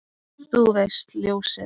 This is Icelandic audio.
Þú veist, ljósið